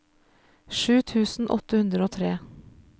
sju tusen åtte hundre og tre